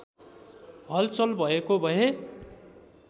हलचल भएको भए